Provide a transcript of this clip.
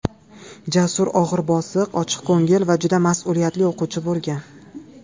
Jasur og‘ir-bosiq, ochiqko‘ngil va juda mas’uliyatli o‘quvchi bo‘lgan.